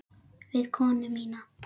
Við konu mína.